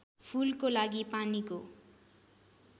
फूलको लागि पानीको